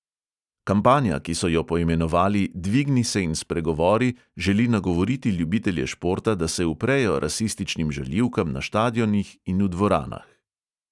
Kampanja, ki so jo poimenovali dvigni se in spregovori, želi nagovoriti ljubitelje športa, da se uprejo rasističnim žaljivkam na štadionih in v dvoranah.